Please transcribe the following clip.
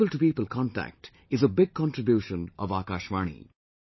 This people to people contact is a big contribution of Akashvani